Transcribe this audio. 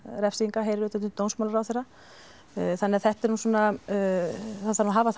refsinga heyrir undir dómsmálaráðherra þannig að þetta er nú svona það þarf að hafa